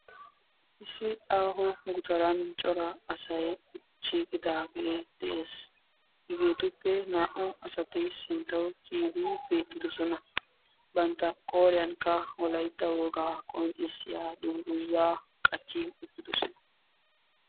Issi aaho gutaran cora asay shiiqidaagee de'ees. Hegeetuppe naa''u asati sinttawu kiyidi beettidosona. Bantta qooriyankka wolaytta wogaa qonccissiya dungguzaa qachchi uttidosona.